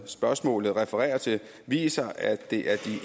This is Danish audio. spørgsmålet refererer til viser at det